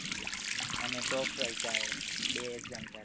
અને ટોપ બે exam ચાલે